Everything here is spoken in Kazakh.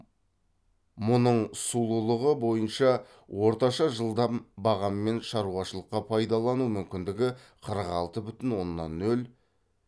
мұның сулылығы бойынша орташа жылдам бағаммен шаруашылыққа пайдаланылу мүмкіндігі қырық алты бүтін оннан нөл